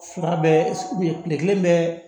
Fila bɛɛ kelen bɛ